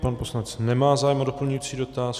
Pan poslanec nemá zájem o doplňující dotaz.